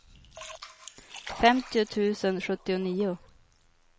femtio tusen sjuttionio